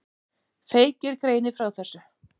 Feykir greinir frá þessu.